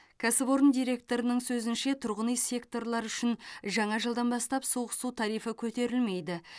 кәсіпорын директорының сөзінше тұрғын үй секторлары үшін жаңа жылдан бастап суық су тарифі көтерілмейді